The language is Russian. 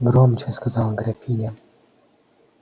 громче сказала графиня